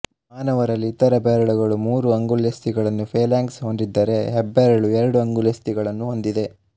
ಮಾನವರಲ್ಲಿ ಇತರ ಬೆರಳುಗಳು ಮೂರು ಅಂಗುಲ್ಯಸ್ಥಿಗಳನ್ನು ಫ಼ೇಲ್ಯಾಂಕ್ಸ್ ಹೊಂದಿದ್ದರೆ ಹೆಬ್ಬೆರಳು ಎರಡು ಅಂಗುಲ್ಯಸ್ಥಿಗಳನ್ನು ಹೊಂದಿದೆ